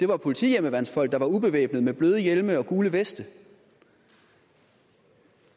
var politihjemmeværnsfolk der var ubevæbnede med bløde hjelme og gule veste og